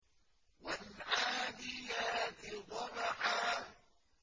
وَالْعَادِيَاتِ ضَبْحًا